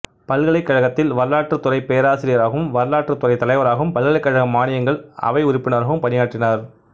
பல்கலைக்கழகத்தில் வரலாற்றுத்துறைப் பேராசிரியராகவும் வரலாற்றுத் துறைத் தலைவராகவும் பல்கலைக்கழக மானியங்கள் அவை உறுப்பினராகவும் பணியாற்றினார்